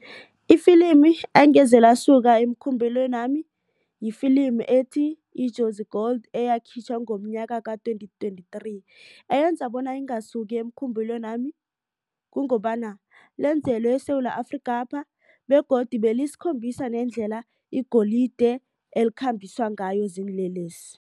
Ifilimi engeze lasuka emkhumbulweni nami lifilimi ethi, Ijozi Gold eyakhitjhwa ngomnyaka ka-twenty twenty-three eyenza bona ingasuki emkhumbulweni nami. Kungobana lenzelwe eSewula Afrikapha begodu belisikhombisa nendlela igolide elikhambiswa ngayo ziinlelesi.